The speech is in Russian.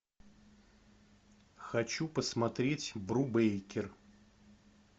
хочу посмотреть брубейкер